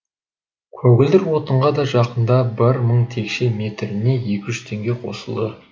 көгілдір отынға да жақында бір мың текше метріне екі жүз теңге қосылды